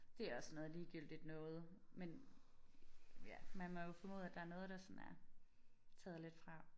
Det også sådan noget ligegyldigt noget men ja man må jo formode at der er noget der sådan er taget lidt fra